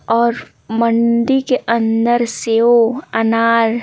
और मंडी के अंदर सेव अनार--